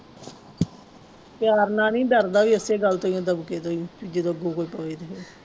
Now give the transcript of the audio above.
ਪਿਆਰ ਨਾਲ ਨੀ ਡਰਦਾ ਵੀ ਇਸੇ ਗੱਲ ਤੋਂ ਹੀ ਹੈ ਦਬਕੇ ਤੋਂ ਹੀ ਜਦੋਂ ਬੋਲ ਪਵੇ ਤੇ ਫਿਰ